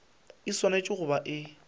e swanetše go ba e